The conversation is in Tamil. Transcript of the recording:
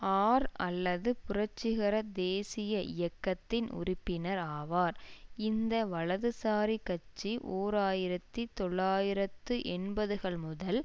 ஆர் அல்லது புரட்சிகர தேசீய இயக்கத்தின் உறுப்பினர் ஆவார் இந்த வலதுசாரி கட்சிஓர் ஆயிரத்தி தொள்ளாயிரத்து எண்பதுகள் முதல்